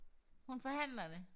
Hun forhandler det